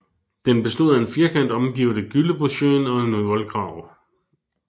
Den bestod af en firkant omgivet af Gyllebosjøen og en voldgrav